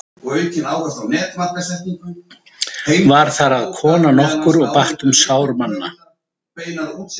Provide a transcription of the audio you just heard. Var þar að kona nokkur og batt um sár manna.